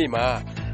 နေ့မှာ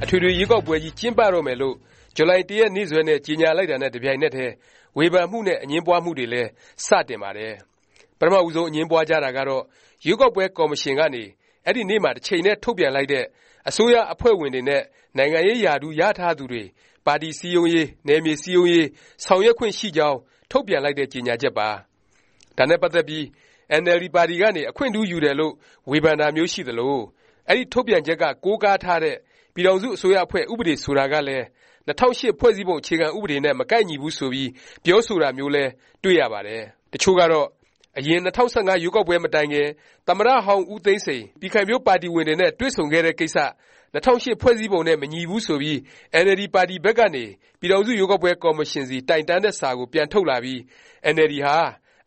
အထွေထွေ ရွေးကောက်ပွဲကြီး ကျင်းပတော့မယ်လို့ ဇူလိုင် ၁ ရက်နေ့စွဲနဲ့ ကြေငြာလိုက်တာနဲ့ တပြိုင်နက်တည်း ဝေဖန်မှုနဲ့ အငြင်းပွားမှုတွေလည်း စတင်ပါတယ်။ ပထမ ဦးဆုံး အငြင်းပွားကြတာကတော့ ရွေးကောက်ပွဲ ကော်မရှင်ကနေ အဲဒီနေ့မှာ တချိန်တည်း ထုတ်ပြန်လိုက်တဲ့ အစိုးရအဖွဲ့ဝင်တွေနဲ့ နိုင်ငံရေး ရာထူးရယူထားသူတွေ ပါတီစည်းရုံးရေး၊ နယ်မြေ စည်းရုံးရေး ဆောင်ရွက်ခွင့် ရှိကြောင်းထုတ်ပြန်လိုက်တဲ့ ကြေငြာချက်ပါ။ ဒါနဲ့ပတ်သက်ပြီး အင်န်အယ်လ်ဒီ ပါတီကနေ အခွင့်ထူးရယူတယ်လို့ ဝေဖန်တာမျိုး ရှိသလို၊ အဲဒီထုတ်ပြန်ချက်က ကိုးကားထားတဲ့ ပြည်ထောင်စု အစိုးရအဖွဲ့ ဥပဒေ ဆိုတာကလည်း ၂၀၀၈ ဖွဲ့စည်းပုံ အခြေခံ ဥပဒေနဲ့ မကိုက်ညီဘူးဆိုပြီး ပြောဆိုတာမျိုးလည်း တွေ့ရပါတယ်။ တစ်ချို့ကတော့ အရင် ၂၀၁၅ ရွေးကောက်ပွဲ မတိုင်ခင် သမ္မတဟောင်း ဦးသိန်းစိန် ပြည်ခိုင်ဖြိုးပါတီဝင်တွေနဲ့ တွေ့ဆုံခဲ့တဲ့ ကိစ္စ ၂၀၀၈ ဖွဲ့စည်းပုံနဲ့ မညီဘူး ဆိုပြီး အင်န်အယ်လ်ဒီ ပါတီဘက်ကနေ ပြည်ထောင်စု ရွေးကောက်ပွဲ ကော်မရှင်ဆီ တိုင်တန်းတဲ့ စာကို ပြန်ထုတ်လာပြီး အင်န်အယ်လ်ဒီ ဟာ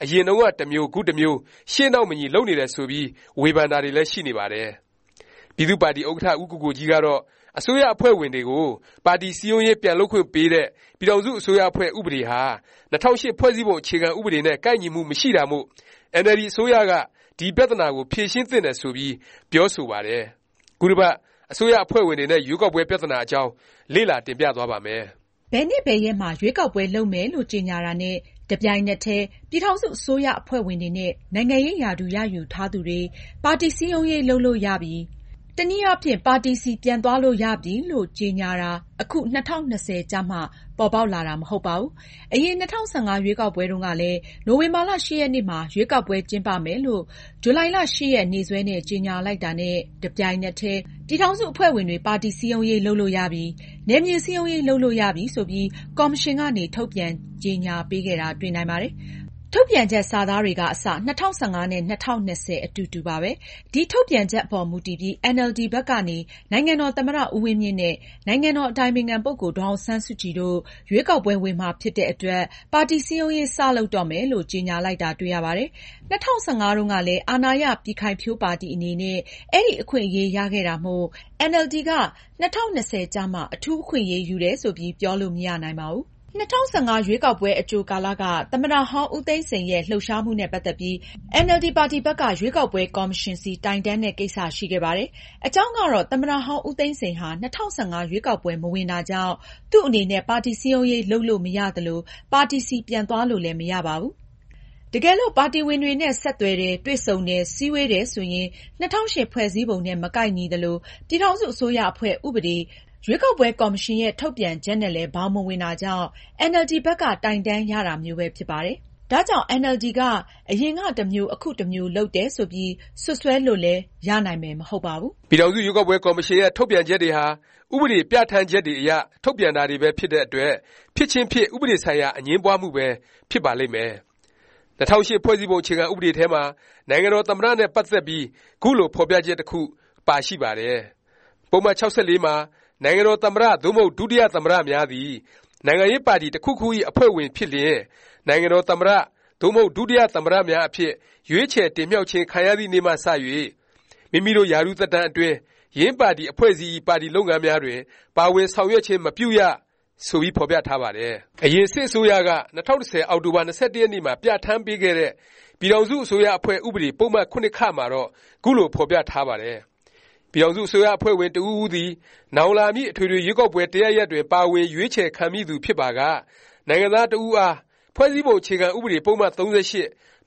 အရင်တုန်းက တစ်မျိုး၊ ခု တစ်မျိုး ရှေ့နောက်မညီ လုပ်နေတယ် ဆိုပြီး ဝေဖန်တာတွေလည်း ရှိနေပါတယ်။ ပြည်သူ့ပါတီဥက္ကဌ ဦးကိုကိုကြီးကတော့ အစိုးရအဖွဲ့ဝင်တွေကို ပါတီစည်းရုံးရေး ပြန်လုပ်ခွင့်ပေးတဲ့ ပြည်ထောင်စု အစိုးရအဖွဲ့ ဥပဒေဟာ ၂၀၀၈ ဖွဲ့စည်းပုံ အခြေခံ ဥပဒေ နဲ့ ကိုက်ညီမှု မရှိတာမို့ အင်န်အယ်လ်ဒီ အစိုးရက ဒီ ပြသနာကို ဖြေရှင်းသင့်တယ်ဆိုပြီး ပြောဆိုပါတယ်။ ခုတစ်ပတ် အစိုးရအဖွဲ့ဝင်တွေ နဲ့ ရွေးကောက်ပွဲ ပြသနာအကြောင်း လေ့လာ တင်ပြသွားပါ့မယ်။ ဘယ်နေ့ ဘယ်ရက်မှာ ရွေးကောက်ပွဲ လုပ်မယ်လို့ ကြေငြာတာနဲ့ တစ်ပြိုင်နက်တည်း ပြည်ထောင်စု အစိုးရအဖွဲ့ဝင်တွေနဲ့ နိုင်ငံရေးရာထူး ရယူထားသူတွေ ပါတီ စည်းရုံးရေး လုပ်လို့ရပြီ၊ တနည်းအားဖြင့် ပါတီဆီ ပြန်သွားလို့ရပြီလို့ ကြေငြာတာ အခု ၂၀၂၀ ကျမှ ပေါ်ပေါက်လာတာ မဟုတ်ပါဘူး။ အရင် ၂၀၁၅ ရွေးကောက်ပွဲတုန်းကလည်း နိုဝင်ဘာ ၈ ရက်နေ့မှာ ရွေးကောက်ပွဲ ကျင်းပမယ်လို့ ဇူလိုင် ၈ ရက်နေ့စွဲနဲ့ ကြေငြာလိုက်တာနဲ့ တပြိုင်နက်တည်း ပြည်ထောင်စု အဖွဲ့ဝင်တွေ ပါတီစည်းရုံးရေး လုပ်လို့ရပြီ၊ နယ်မြေ စည်းရုံးရေး လုပ်လို့ ရပြီ ဆိုပြီး ကော်မရှင်ကနေ ထုတ်ပြန် ကြေငြာပေးခဲ့တာ တွေ့နိုင်ပါတယ်။ ထုတ်ပြန်ချက် စာသားတွေက အစ ၂၀၁၅ နဲ့ ၂၀၂၀ အတူတူပါပဲ။ ဒီထုတ်ပြန်ချက် အပေါ်မူတည်ပြီး အင်န်အယ်လ်ဒီ ဘက်ကနေ နိုင်ငံတော်သမ္မတ ဦးဝင်းမြင့်နဲ့ နိုင်ငံတော်ဇ။် အတိုင်ပင်ခံ ပုဂ္ဂိုလ် ဒေါ်အောင်ဆန်းစုကြည်တို့ ရွေးကောက်ပွဲ ဝင်မှာ ဖြစ်တဲ့အတွက် ပါတီစည်းရုံးရေး စ လုပ်တော့မယ်လို့ ကြေငြာလိုက်တာ တွေ့ရပါတယ်။ ၂၀၁၅ တုန်းကလည်း အာဏာရ ပြည်ခိုင်ဖြိုးပါတီအနေနဲ့ အဲဒီ အခွင့်အရေး ရခဲ့တာမို့ အင်န်အယ်လ်ဒီ က ၂၀၂၀ ကျမှ အထူး အခွင့်အရေးယူတယ် ဆိုပြီး ပြောလို့ မရနိုင်ပါဘူး။ ၂၀၁၅ ရွေးကောက်ပွဲအကြိုကာလ က သမ္မတဟောင်း ဦးသိန်းစိန်ရဲ့ လှုပ်ရှားမှုနဲ့ ပတ်သက်ပြီး အင်န်အယ်လ်ဒီ ပါတီဘက်က ရွေးကောက်ပွဲ ကော်မရှင်ဆီ တိုင်တန်းတဲ့ ကိစ္စ ရှိခဲ့ပါတယ်။ အကြောင်းကတော့ သမ္မတ ဟောင်း ဦးသိန်းစိန်ဟာ ၂၀၁၅ ရွေးကောက်ပွဲ မဝင်တာကြောင့် သူ့အနေနဲ့ ပါတီစည်းရုံးရေး လုပ်လို့ မရသလို၊ ပါတီဆီ ပြန်သွားလို့လည်း မရပါဘူး။ တကယ်လို့ ပါတီဝင်တွေနဲ့ ဆက်သွယ်တယ်၊ တွေ့ဆုံတယ်၊ စည်းဝေးတယ် ဆိုရင် ၂၀၀၈ ဖွဲ့စည်းပုံနဲ့ မကိုက်ညီသလို၊ ပြည်ထောင်စု အစိုးရအဖွဲ့ဥပဒေ၊ ရွေးကောက်ပွဲ ကော်မရှင်ရဲ့ ထုတ်ပြန်ချက်နဲ့လည်း ဘောင်မဝင်တာကြောင့် အင်န်အယ်လ်ဒီ ဘက်က တိုင်တန်းရတာမျိုးပဲ ဖြစ်ပါတယ်။ ဒါကြောင့် အင်န်အယ်လ်ဒီ က အရင်ကတစ်မျိုး အခုတစ်မျိုး လုပ်တယ်ဆိုပြီး စွပ်စွဲလို့လည်း ရနိုင်မယ် မဟုတ်ပါဘူး။ ပြည်ထောင်စု ရွေးကောက်ပွဲ ကော်မရှင်ရဲ့ ထုတ်ပြန်ချက်တွေဟာ ဥပဒေ ပြဌာန်းချက်တွေအရ ထုတ်ပြန်တာတွေပဲ ဖြစ်တဲ့ အတွက် ဖြစ်ခြင်းဖြစ် ဥပဒေဆိုင်ရာ အငြင်းပွားမှုပဲ ဖြစ်ပါလိမ့်မယ်။ ၂၀၀၈ ဖွဲ့စည်းပုံ အခြေခံဥပဒေထဲမှာ နိုင်ငံတော် သမ္မတ နဲ့ ပတ်သက်ပြီး ခုလို ဖော်ပြချက် တစ်ခု ပါရှိပါတယ်။ ပုဒ်မ ၆၄ မှာ “နိုင်ငံတော် သမ္မတ သို့မဟုတ် ဒုတိယ သမ္မတ များသည် နိုင်ငံရေးပါတီ တစ်ခုခုဇ။် အဖွဲ့ဝင် ဖြစ်လျင် နိုင်ငံတော် သမ္မတ သို့မဟုတ် ဒုတိယ သမ္မတများအဖြစ် ရွေးချယ်တင်မြှောက်ခြင်း ခံရသည့်နေ့မှစ၍ မိမိတို့ ရာထူးသက်တမ်း အတွင်း ယင်းပါတီ အဖွဲ့အစည်းဇ။် ပါတီ လုပ်ငန်းများတွင် ပါဝင်ဆောင်ရွက်ခြင်း မပြုရ” ဆိုပြီး ဖော်ပြထားပါတယ်။ အရင် စစ်အစိုးရက ၂၀၁၀ အောက်တိုဘာ ၂၁ ရက်နေ့မှာ ပြဌာန်းပေးခဲ့တဲ့ “ပြည်ထောင်စု အစိုးရအဖွဲ့ ဥပဒေ” ပုဒ်မ ၇(ခ)မှာတော့ ခုလို ဖော်ပြထား ပါတယ်။ ပြည်ထောင်စု အစိုးရအဖွဲ့ဝင် တစ်ဦးဦးသည် “ နောင်လာမည့် အထွေထွေ ရွေးကောက်ပွဲ တစ်ရပ်ရပ်တွင် ပါဝင် ရွေးချယ်ခံမည့်သူ ဖြစ်ပါက နိုင်ငံသား တစ်ဦးအား ဖွဲ့စည်းပုံ အခြေခံဥပဒေ ပုဒ်မ ၃၈၊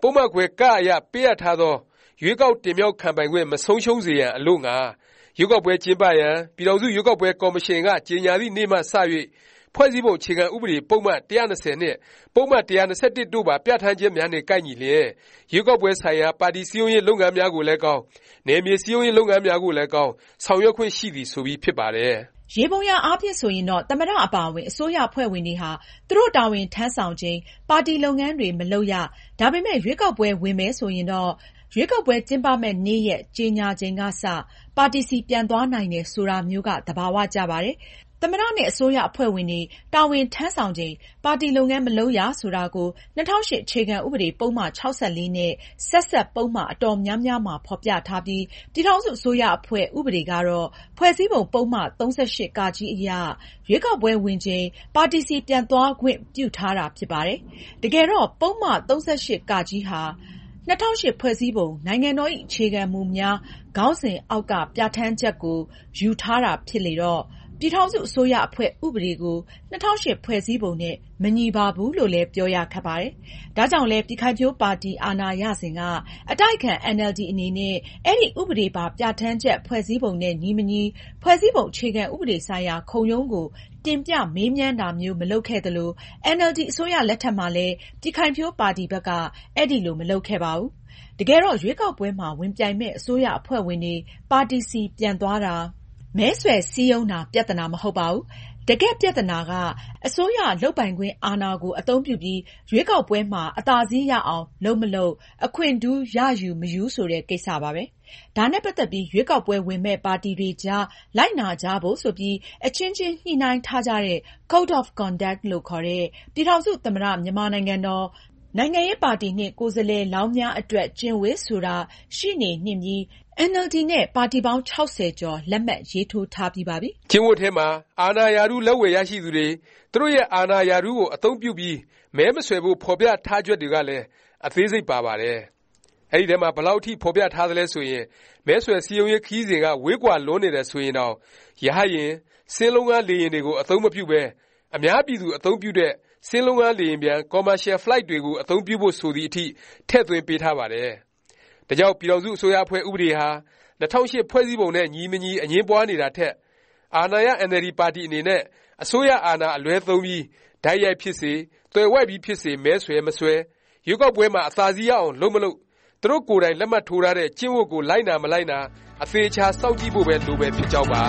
ပုဒ်မခွဲ(က) အရ ပေးအပ်ထားသော ရွေးကောက် တင်မြှောက်ခံပိုင်ခွင့် မဆုံးရှုံးစေရန် အလို့ငှာ ရွေးကောက်ပွဲ ကျင်းပရန် ပြည်ထောင်စု ရွေးကောက်ပွဲ ကော်မရှင်က ကြေငြာသည့်နေ့မှ စ၍ ဖွဲ့စည်းပုံ အခြေခံဥပဒေ ပုဒ်မ ၁၂၀ နှင့် ပုဒ်မ ၁၂၁ တို့ပါ ပြဌာန်းချက်များနှင့် ကိုက်ညီလျင် ရွေးကောက်ပွဲ ဆိုင်ရာ ပါတီ စည်းရုံးရေး လုပ်ငန်းများ ကိုလည်းကောင်း၊ နယ်မြေ စည်းရုံးရေး လုပ်ငန်းများကိုလည်းကောင်း၊ ဆောင်ရွက်ခွင့် ရှိသည်။” ဆိုပြီးဖြစ်ပါတယ်။ ယေဘုယျအားဖြင့် ဆိုရင်တော့ သမ္မတ အပါအဝင် အစိုးရအဖွဲ့ဝင်တွေဟာ သူတို့ တာဝန်ထမ်းဆောင်ချိန် ပါတီလုပ်ငန်းတွေ မလုပ်ရ၊ ဒါပေမယ့် ရွေးကောက်ပွဲ ဝင်မယ် ဆိုရင်တော့ ရွေးကောက်ပွဲ ကျင်းပမယ့်နေ့ရက် ကြေငြာချိန်ကစ ပါတီဆီ ပြန်သွားနိုင်တယ် ဆိုတာမျိုးက သဘာ၀ ကျပါတယ်။ သမ္မတ နဲ့ အစိုးရအဖွဲ့ဝင်တွေ တာဝန်ထမ်းဆောင်ချိန် ပါတီလုပ်ငန်း မလုပ်ရ ဆိုတာကို ၂၀၀၈ အခြေခံဥပဒေ ပုဒ်မ ၆၄ နဲ့ ဆက်စပ် ပုဒ်မ အတော်များများမှာ ဖော်ပြထားပြီး၊ ပြည်ထောင်စု အစိုးရအဖွဲ့ ဥပဒေကတော့ ဖွဲ့စည်းပုံ ပုဒ်မ ၃၈(က)အရ ရွေးကောက်ပွဲဝင်ချိန် ပါတီဆီ ပြန်သွားခွင့်ပြုထားတာ ဖြစ်ပါတယ်။ တကယ်တော့ ပုဒ်မ ၃၈(က)ဟာ ၂၀၀၈ ဖွဲ့စည်းပုံ “နိုင်ငံတော်ဇ။် အခြေခံမူများ” ခေါင်းစဉ်အောက်က ပြဌာန်းချက်ကို ယူထားတာ ဖြစ်လေတော့ ပြည်ထောင်စု အစိုးရအဖွဲ့ ဥပဒေကို ၂၀၀၈ ဖွဲ့စည်းပုံနဲ့ မညီပါဘူးလို့လည်း ပြောရ ခက်ပါတယ်။ ဒါကြောင့်လဲ ပြည်ခိုင်ဖြိုးပါတီ အာဏာရစဉ်က အတိုက်အခံ အင်န်အယ်လ်ဒီ အနေနဲ့ အဲဒီ ဥပဒေပါ ပြဌာန်းချက် “ဖွဲ့စည်းပုံနဲ့ ညီမညီ” ဖွဲ့စည်းပုံအခြေခံဥပဒေဆိုင်ရာ ခုံရုံးကို တင်ပြ မေးမြန်းတာမျိုး မလုပ်ခဲ့သလို၊ အင်န်အယ်လ်ဒီ အစိုးရလက်ထက်မှာလည်း ပြည်ခိုင်ဖြိုးပါတီဘက်က အဲလို မလုပ်ခဲ့ပါဘူး။ တကယ်တော့ ရွေးကောက်ပွဲမှာ ဝင်ပြိုင်မယ့် အစိုးရအဖွဲ့ဝင်တွေ ပါတီဆီ ပြန်သွားတာ၊ မဲဆွယ် စည်းရုံးတာ ပြသနာ မဟုတ်ပါဘူး။ တကယ့် ပြသနာက အစိုးရ လုပ်ပိုင်ခွင့် အာဏာကို အသုံးပြုပြီး ရွေးကောက်ပွဲမှာ အသာစီးရအောင် လုပ်မလုပ်၊ အခွင့်ထူး ရယူ၊ မယူ ဆိုတဲ့ ကိစ္စပါပဲ။ ဒါနဲ့ ပတ်သက်ပြီး ရွေးကောက်ပွဲဝင်မယ့် ပါတီတွေကြား လိုက်နာကြဖို့ ဆိုပြီး အချင်းချင်း ညှိနှိုင်းထားကြတဲ့ Code of Conduct လို့ခေါ်တဲ့ “ ပြည်ထောင်စု သမ္မတ မြန်မာနိုင်ငံတော် နိုင်ငံရေးပါတီနှင့် ကိုယ်စားလှယ်လောင်းများ အတွက် ကျင့်ဝတ်” ဆိုတာ ရှိနေနှင့်ပြီး အင်န်အယ်လ်ဒီ နဲ့ ပါတီပေါင်း ၆၀ ကျော် လက်မှတ်ရေးထိုးထားပြီးပါပြီ။ ကျင့်ဝတ်ထဲမှာ အာဏာရာထူး လက်ဝယ်ရရှိသူတွေ၊ သူတို့ရဲ့ အာဏာ ရာထူးကို အသုံးပြုပြီး မဲမဆွယ်ဖို့ ဖော်ပြထားချက်တွေလည်း အသေးစိတ် ပါပါတယ်။ ဒီထဲမှာ ဘယ်လောက် အထိ ဖော်ပြထားသလဲ ဆိုရင် မဲဆွယ်စည်းရုံးရေး ခရီးစဉ်က ဝေးကွာလွန်းနေတယ် ဆိုရင်တောင် ရဟတ်ယာဉ်၊ စင်းလုံးငှား လေယာဉ်တွေကို အသုံးမပြုပဲ၊ အများပြည်သူ အသုံးပြုတဲ့ စင်းလုံးငှား လေယာဉ်ပျံ Commercial Flight ကိုပဲ အသုံးပြုဖို့ ဆိုသည်အထိ ထည့်သွင်းပေးထားပါတယ်။ ဒါကြောင့် ပြည်ထောင်စု အစိုးရအဖွဲ့ ဥပဒေဟာ ၂၀၀၈ ဖွဲ့စည်းပုံနဲ့ ညီမညီ အငြင်းပွားနေတာထက် အာဏာရ အင်န်အယ်လ်ဒီပါတီ အနေနဲ့ အစိုးရ အာဏာ အလွဲသုံးပြီး တိုက်ရိုက်ဖြစ်စေ၊ သွယ်ဝိုက်ပြီး ဖြစ်စေ မဲဆွယ်၊ မဆွယ်၊ ရွေးကောက်ပွဲမှာ အသာစီးရအောင် လုပ်မလုပ်၊ သူတို့ကိုယ်တိုင် လက်မှတ်ထိုးထားတဲ့ “ကျင့်ဝတ်” ကို လိုက်နာ၊ မလိုက်နာ အသေအခြာ စောင့်ကြည့်ဖို့ပဲ လိုမယ် ဖြစ်ကြောင်းပါ။